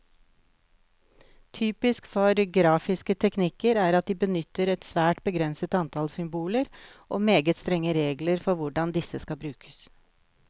Typisk for grafiske teknikker er at de benytter et svært begrenset antall symboler, og meget strenge regler for hvordan disse skal brukes.